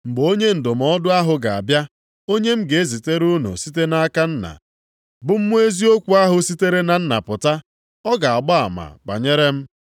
“Mgbe Onye Ndụmọdụ + 15:26 Onye inyeaka maọbụ onye nkasiobi. ahụ ga-abịa, onye m ga-ezitere unu site nʼaka Nna, bụ Mmụọ eziokwu ahụ sitere na Nna pụta, ọ ga-agba ama banyere m.